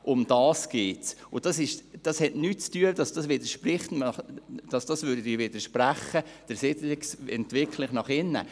Darum geht es, und das widerspricht nicht der Siedlungsentwicklung nach innen.